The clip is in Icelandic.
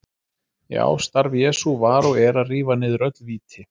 Já, starf Jesú var og er að rífa niður öll víti.